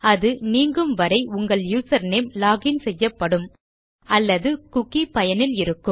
அது நீங்கும் வரை உங்கள் யூசர்நேம் லாக் இன் செய்யப்படும் அல்லது குக்கி பயனில் இருக்கும்